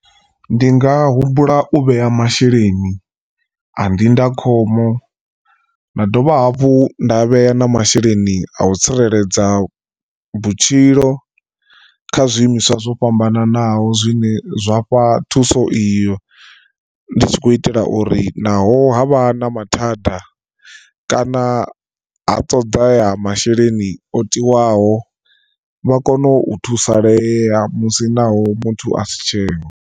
Ndi nga humbula u vhea masheleni a ndindakhombo nda dovha hafhu nda vhea na masheleni a u tsireledza vhutshilo kha zwiimiswa zwo fhambananaho zwine zwa fha thuso iyo ndi tshi khou itela uri naho havha na mathada kana ha toḓa masheleni o tiwaho vha kone u thusalea musi naho muthu asi tsheho.